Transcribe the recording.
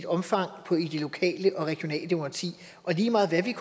omfang i det lokale og regionale demokrati og lige meget hvad vi